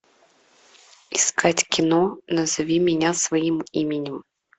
искать кино назови меня своим именем